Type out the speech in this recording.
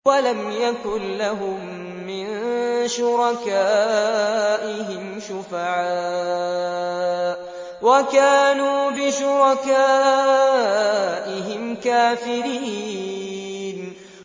وَلَمْ يَكُن لَّهُم مِّن شُرَكَائِهِمْ شُفَعَاءُ وَكَانُوا بِشُرَكَائِهِمْ كَافِرِينَ